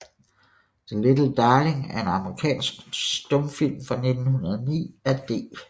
The Little Darling er en amerikansk stumfilm fra 1909 af D